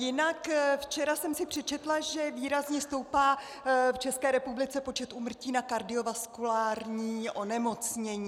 Jinak včera jsem si přečetla, že výrazně stoupá v České republice počet úmrtí na kardiovaskulární onemocnění.